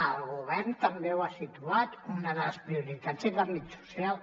el govern també ho ha situat una de les prioritats és l’àmbit social